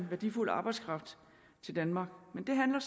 værdifuld arbejdskraft til danmark men det handler